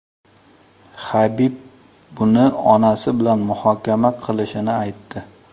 Habib buni onasi bilan muhokama qilishini aytdi.